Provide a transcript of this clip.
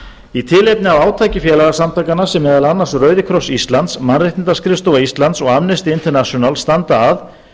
í tilefni af átaki félagasamtakanna sem meðal annars rauðikross íslands mannréttindaskrifstofa íslands og amnesty international standa að